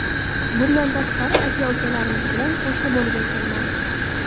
Bundan tashqari, aka-ukalarimiz bilan qo‘shni bo‘lib yashaymiz.